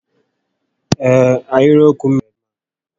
Ee, ahịrịokwu m méré dị mma